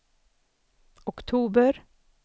oktober